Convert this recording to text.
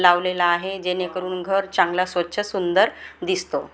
लावलेलं आहे जेणेकरून घर चांगलं स्वच्छ सुंदर दिसतो.